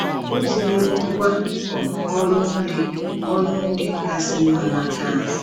O tinyewo ngwá um ọrụ ndị ọrụ ndị kasị mma naka anyị.